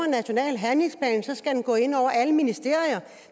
national handlingsplan skal den gå ind over alle ministerier